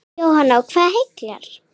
Jóhanna: Og hvað heillar?